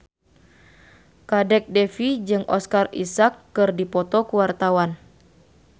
Kadek Devi jeung Oscar Isaac keur dipoto ku wartawan